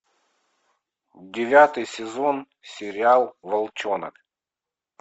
девятый сезон сериал волчонок